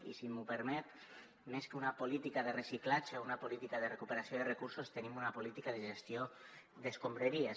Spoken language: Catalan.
i si m’ho permet més que una política de reciclatge o una política de recuperació de recursos tenim una política de gestió d’escombraries